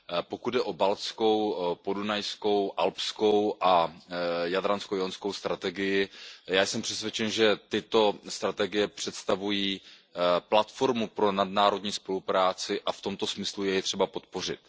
Pokud jde o baltskou, podunajskou, alpskou a jadransko jónskou strategii, já jsem přesvědčen, že tyto strategie představují platformu pro nadnárodní spolupráci a v tomto smyslu je třeba je podpořit.